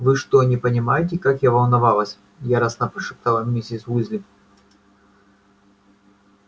вы что не понимаете как я волновалась яростно прошептала миссис уизли